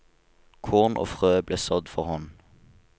Korn og frø ble sådd for hånd.